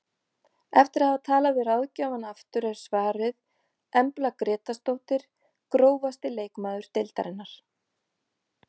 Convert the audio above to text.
Eftir að hafa talað við ráðgjafann aftur er svarið Embla Grétarsdóttir Grófasti leikmaður deildarinnar?